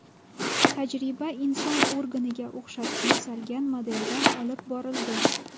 Tajriba inson organiga o‘xshatib yasalgan modelda olib borildi.